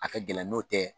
A ka gɛlɛn n'o tɛ